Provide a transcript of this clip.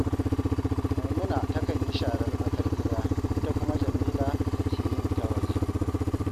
Maimuna takan yi sharar tsakar gida, ita kuma Jamila take yin ta waje